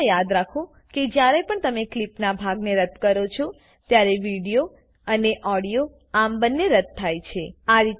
હમેશા યાદ રાખો કે જ્યારે પણ તમે ક્લીપનાં ભાગને રદ્દ કરો છો ત્યારે વિડીયો અને ઓડિયો આમ બંને રદ્દ થાય છે